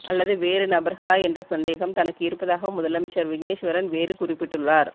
அல்லது வேறுநபர்களா என்றசந்தேகம் தனக்கு இருப்பதாக முதலமைச்சர் விக்னேஸ்வரன் வேறு குறிப்பிட்டுள்ளார்